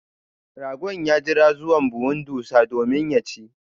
Ragon ya jira zuwa buhun ɗussa domin ya chi.